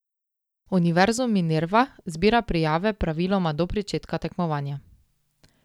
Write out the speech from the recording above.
Univerzum Minerva zbira prijave praviloma do pričetka tekmovanja.